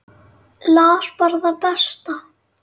Las bara það besta.